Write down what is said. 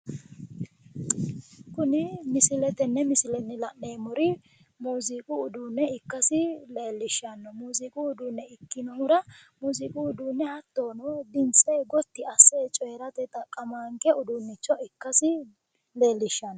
Kuni tenne misilenni la'neemmori muuziiqu uduunne ikkasi leellishshanno, muuziiqu uduunne ikkinohura, muuziiqu uduunne hattono dimtse gotti asse cooyirate xaqqamaanke uduunnicho ikkasi leellishshanno.